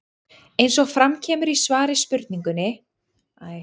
Eins og fram kemur í svari við spurningunni Hvað standa eldgos lengi?